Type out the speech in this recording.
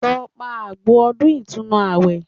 Lọ pa àgbò ọdún ìtúnu àwẹ̀